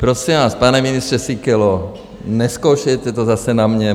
Prosím vás, pane ministře Síkelo, nezkoušejte to zase na mě.